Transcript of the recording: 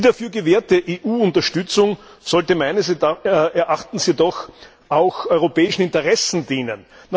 Die dafür gewährte EU Unterstützung sollte meines Erachtens jedoch auch europäischen Interessen dienen.